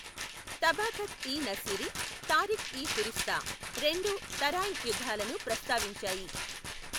తబాఖత్ ఇ నసీరి, తారిఖ్ ఇ ఫిరిష్తా రెండు తరాయిన్ యుద్ధాలను ప్రస్తావించాయి.